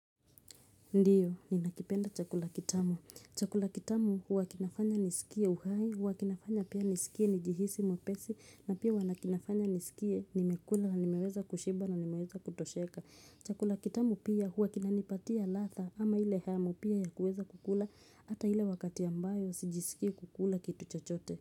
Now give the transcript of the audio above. Ndiyo, ninakipenda chakula kitamu. Chakula kitamu huwa kinafanya nisikie uhai, huwa kinafanya pia nisikie nijihisi mwepesi, na pia kinafanya nisikie nimekula na nimeweza kushiba na nimeweza kutosheka. Chakula kitamu pia huwa kinanipatia ladha ama ile hamu pia ya kuweza kukula hata ile wakati ambayo sijisikii kukula kitu chochote.